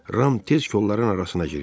Ram tez kolların arasına girdi.